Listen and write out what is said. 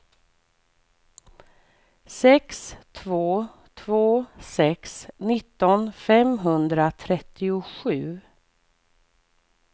sex två två sex nitton femhundratrettiosju